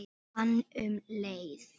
Hann um Heiði.